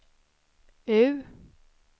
U